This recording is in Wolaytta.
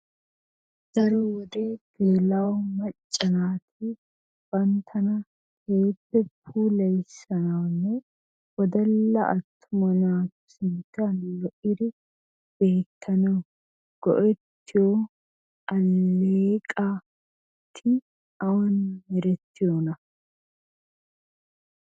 Daro wode geella"o macca naati banttana keehippe puulayissanawunne wodalla attuma naatu sinttan lo"iddi beettanaw go"ettiyo alleeqati awan meretiyoona?